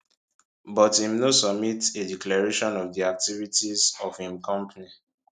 but im no submit a declaration of di activities of im company